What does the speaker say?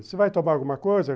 Você vai tomar alguma coisa?